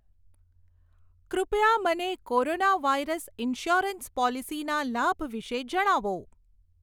કૃપયા મને corona virus insurance પોલીસીના લાભ વિષે જણાવો.